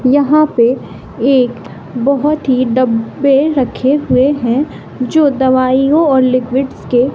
यहां पे एक बहोत ही डब्बे रखे हुए हैं जो दवाइयां और लिक्विड्स के--